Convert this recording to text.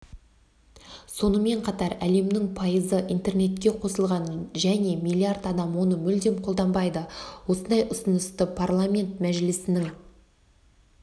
сонымен қатар әлемнің пайызы интернетке қосылған және миллиард адам оны мүлдем қолданбайды осындай ұсынысты парламент мәжілісінің